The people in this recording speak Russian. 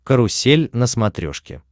карусель на смотрешке